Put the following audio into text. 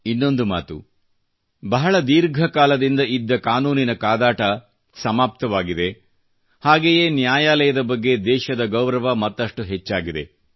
ಇನ್ನೊಂದು ಮಾತು ಬಹಳ ದೀರ್ಘ ಕಾಲದಿಂದ ಕಾನೂನಿನ ಕಾದಾಟ ಸಮಾಪ್ತವಾಗಿದೆ ಮತ್ತು ಹಾಗೆಯೇ ನ್ಯಾಯಾಲಯದ ಬಗ್ಗೆ ದೇಶದ ಗೌರವ ಮತ್ತಷ್ಟು ಹೆಚ್ಚಾಗಿದೆ